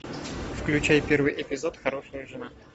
включай первый эпизод хорошая жена